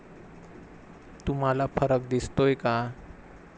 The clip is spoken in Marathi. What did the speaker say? तुम्हाला फरक दिसतोय का?